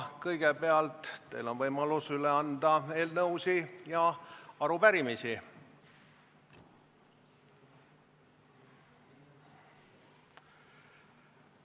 Kõigepealt on teil võimalus üle anda eelnõusid ja arupärimisi.